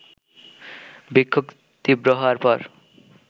বিক্ষোভ তীব্র হওয়ার পর